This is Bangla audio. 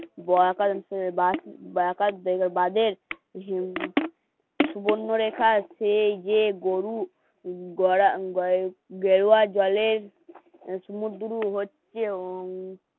বাঁধের সুবর্ণরেখা সেই যে গরু গেরুয়া জলের মুঠো হচ্ছে ও